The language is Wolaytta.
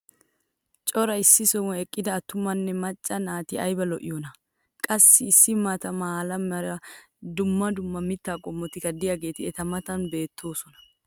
cora issi sohuwan eqqida attumanne macca naati aybba lo'iyoonaa! qassi issi maata mala meray diyo dumma dumma mitaa qommotikka diyaageeti eta matan beettoosona.